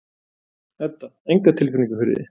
Edda: Enga tilfinningu fyrir því?